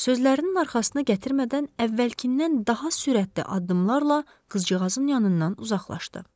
Ancaq sözlərinin arxasına gətirmədən, əvvəlkindən daha sürətli addımlarla qızcığazın yanından uzaqlaşdı.